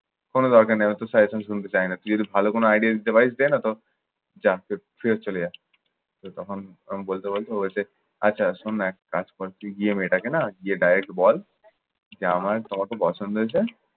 কোনো দরকার নাই, অত suggestion শুনতে চাই না। তুই যদি ভালো কোন idea দিতে পারিস দে নয়ত যা ফেরত চলে যা। তো তখন আমি বলতে বলতে ও বলছে, আচ্ছা শোন না এক কাজ কর। তুই গিয়ে মেয়েটাকে না গিয়ে direct বল, যে আমার তোমাকে পছন্দ হয়েছে।